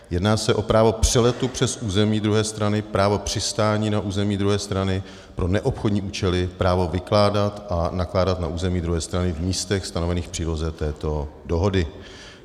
Jedná se o právo přeletu přes území druhé strany, právo přistání na území druhé strany pro neobchodní účely, právo vykládat a nakládat na území druhé strany v místech stanovených v příloze této dohody.